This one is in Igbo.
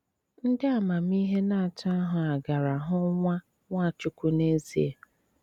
Ndí Ámámíhè ná àtó áhụ á gàrà hụ́ nwá Nwáchúkwú n’ezié.